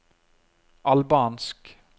albansk